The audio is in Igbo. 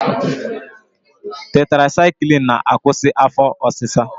Tetrasaịklin na-akwụsị afọ ọsịsa.